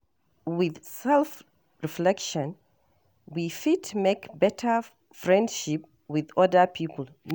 With self reflection we fit make better friendship with oda pipo